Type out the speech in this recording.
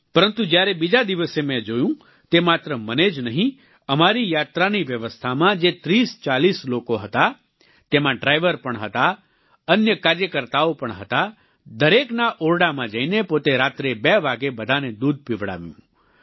પરંતુ જ્યારે બીજા દિવસે મેં જોયું તે માત્ર મને જ નહીં અમારી યાત્રાની વ્યવસ્થામાં જે 3040 લોકો હતા તેમાં ડ્રાઈવર પણ હતા અન્ય કાર્યકર્તાઓ પણ હતા દરેકના ઓરડામાં જઈને પોતે રાત્રે 2 વાગ્યે બધાને દૂધ પીવડાવ્યું